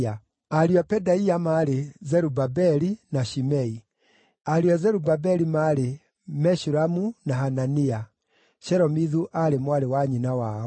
Ariũ a Pedaia maarĩ: Zerubabeli na Shimei. Ariũ a Zerubabeli maarĩ: Meshulamu na Hanania; Shelomithu aarĩ mwarĩ wa nyina wao.